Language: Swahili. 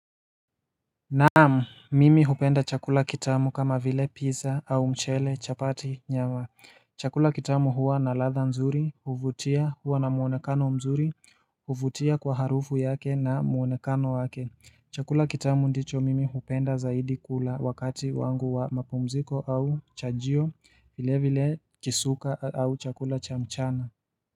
Naam, mimi hupenda chakula kitamu kama vile pizza au mchele chapati nyama Chakula kitamu huwa na latha nzuri, huvutia huwa na muonekano mzuri, huvutia kwa harufu yake na muonekano wake Chakula kitamu ndicho mimi hupenda zaidi kula wakati wangu wa mapumziko au chajio, vile vile kisuka au chakula cha mchana.